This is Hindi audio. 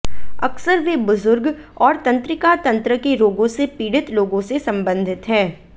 अक्सर वे बुजुर्ग और तंत्रिका तंत्र के रोगों से पीड़ित लोगों से संबंधित हैं